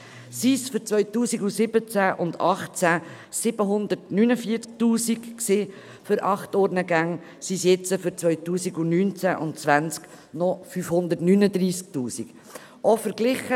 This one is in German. Waren es für die Jahre 2017 und 2018 749 000 Franken für acht Urnengänge, so sind es für die Jahre 2019 und 2020 noch 539 000 Franken.